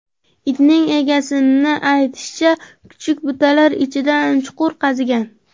Itning egasini aytishicha, kuchuk butalar ichidan chuqur qazigan.